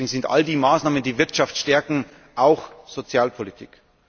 Deswegen sind all die Maßnahmen, die Wirtschaft stärken, auch Sozialpolitik.